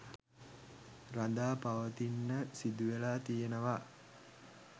රඳාපවතින්න සිදුවෙලා තියෙනවා